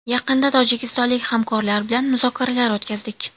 Yaqinda tojikistonlik hamkorlar bilan muzokaralar o‘tkazdik.